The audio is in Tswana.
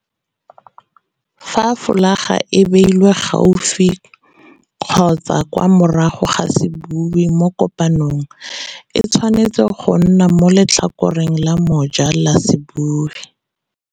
Fa folaga e beilwe gaufi kgotsa kwa morago ga sebui mo kopanong, e tshwanetse go nna mo letlhakoreng la moja la sebui.